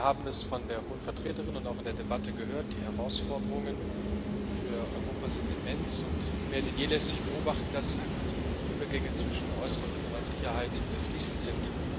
Wir haben es von der Hohen Vertreterin und auch in der Debatte gehört Die Herausforderungen für Europa sind immens, und mehr denn je lässt sich beobachten, dass eben die Übergänge zwischen äußerer und innerer Sicherheit fließend sind.